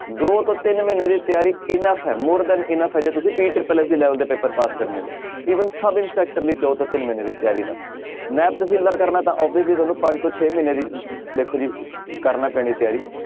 ਦੋ ਤੋਂ ਤਿੰਨ ਮਹੀਨੇ ਦੀ ਤਿਆਰੀ enough ਹੈ more than enough ਹੈ ਜੇ ਤੁਸੀਂ level ਦੇ ਪੇਪਰ ਪਾਸ ਕਰਨੇ ਨੇ even ਸਬ ਇੰਸਪੈਕਟਰ ਲਈ ਜਾਓ ਤਾਂ ਤਿੰਨ ਮਹੀਨੇ ਦੀ ਤਿਆਰੀ ਨਾਲ ਨੈਬ ਤਹਿਸੀਲਦਾਰ ਕਰਨਾ ਤਾਂ obviously ਤੁਹਾਨੂੰ ਪੰਜ ਤੋਂ ਛੇ ਮਹੀਨੇ ਦੀ ਦੇਖੋ ਜੀ ਕਰਨਾ ਪੈਣੀ ਤਿਆਰੀ।